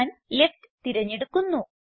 ഞാൻ ലെഫ്റ്റ് തിരഞ്ഞെടുക്കുന്നു